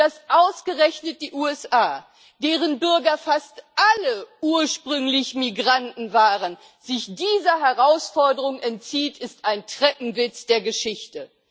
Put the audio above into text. Und dass ausgerechnet die USA, deren Bürger fast alle ursprünglich Migranten waren, sich dieser Herausforderung entziehen, ist ein Treppenwitz der Geschichte.